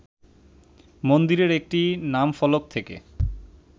মন্দিরের একটি নামফলক থেকে